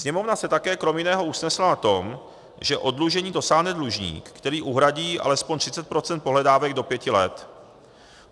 Sněmovna se také krom jiného usnesla na tom, že oddlužení dosáhne dlužník, který uhradí alespoň 30 % pohledávek do pěti let.